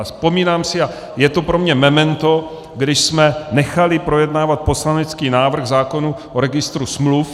A vzpomínám si a je to pro mě memento, když jsme nechali projednávat poslanecký návrh zákona o registru smluv.